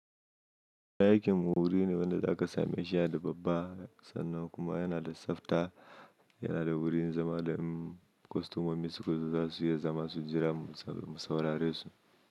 Dayakin wuri ne wanda zaka sami a shiya da babba sannan kuma yana da tsafta, yana da wurin zama da in kostomomi su kusa za su iya zama su jira masaurare su.